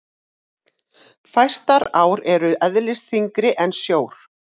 fæstar ár eru eðlisþyngri en sjór